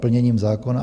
Plněním zákona?